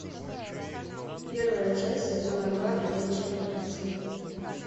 первая часть сезона два ходячие мертвецы